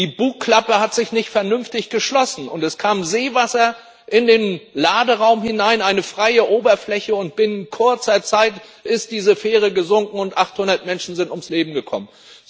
Die Bugklappe hat sich nicht vernünftig geschlossen, und es kam Seewasser in den Laderaum hinein, eine freie Oberfläche, und binnen kurzer Zeit ist diese Fähre gesunken und 800 Menschen sind ums Leben gekommen.